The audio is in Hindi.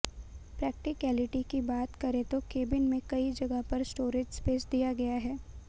प्रैक्टिकैलिटी की बात करें तो केबिन में कई जगह पर स्टोरेज स्पेस दिया गया है